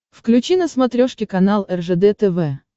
включи на смотрешке канал ржд тв